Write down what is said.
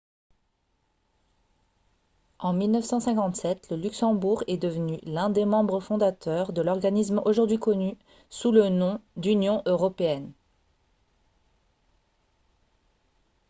en 1957 le luxembourg est devenu l'un des membres fondateurs de l'organisme aujourd'hui connu sous le nom d'union européenne